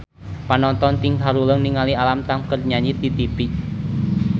Panonton ting haruleng ningali Alam Tam keur nyanyi di tipi